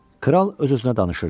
Kral öz-özünə danışırdı.